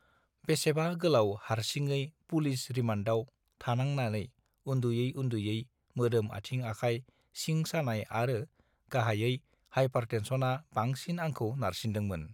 बेसेबा गोलाउ हार्सिङै पुलिस रिमान्दआव थानांनानै उन्दुयै उन्दुयै मोदोम आथिं आखाइ सिं सानाय आरो गाहाइयै हाइपारटेन्सनआ बांसिन आंखौ नारसिनदोंमोन